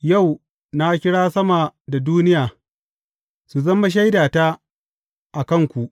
Yau, na kira sama da duniya, su zama shaidata a kanku.